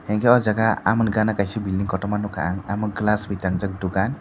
enke ah jaaga amoni gana kaisa building korotma nugkha ang omo glass by tangjak dugan.